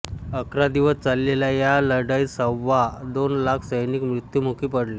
अकरा दिवस चाललेल्या या लढाईत सव्वा दोन लाख सैनिक मृत्युमुखी पडले